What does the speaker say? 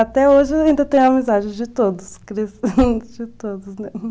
Até hoje ainda tenho amizade de todos, de todos, né?